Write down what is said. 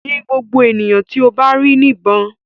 Yin ngbogbo eniyan ti o ba ri nibon!